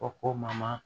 O ko ma